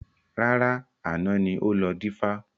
Rárá, àná ni ó lọ dífá